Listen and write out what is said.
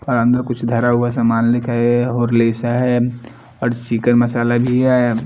और अंदर कुछ धरा हुआ सामान लिखा हैं और लिसा हैं और शिखर मसाला भी हैं।